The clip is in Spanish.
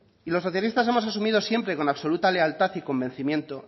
y los socialistas hemos asumido siempre con absoluta lealtad y convencimiento